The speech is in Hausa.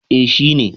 eh shi ne